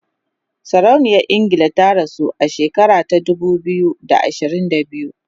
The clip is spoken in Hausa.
sarauniyar ingila ta rasu a shekara ta dubu biyu da ashirin da biyu